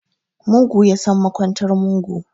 Mugu yasan makwantar mugu